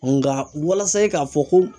Nka walasa i k'a fɔ ko